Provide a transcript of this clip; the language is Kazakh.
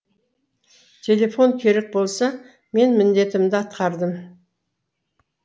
телефон керек болса мен міндетімді атқардым